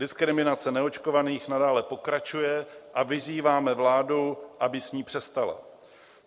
Diskriminace neočkovaných nadále pokračuje a vyzýváme vládu, aby s ní přestala.